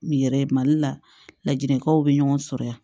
U yɛrɛ ye mali la lajɛlikanw bɛ ɲɔgɔn sɔrɔ yan